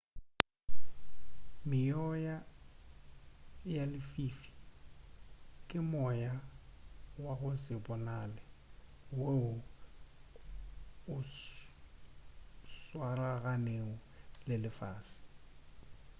meoya ya lefifi ke moya wa go se bonale woo o swaraganego le lefase